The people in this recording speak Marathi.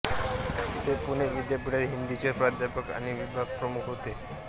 ते पुणे विद्यापीठात हिंदीचे प्राध्यापक आणि विभागप्रमुख होते